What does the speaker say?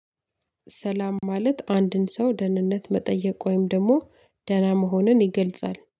ሰላም ማለት አንድን ሰው ደህንነት መጠየቅ ወይም ደግሞ ደህና መሆንን ይገልጻል።